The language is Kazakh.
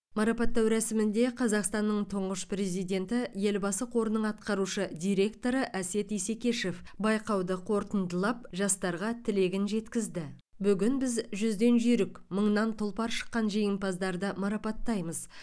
марапаттау рәсімінде қазақстанның тұңғыш президенті елбасы қорының атқарушы директоры әсет исекешев байқауды қорытындылап жастарға тілегін жеткізді бүгін біз жүзден жүйрік мыңнан тұлпар шыққан жеңімпаздарды марапаттаймыз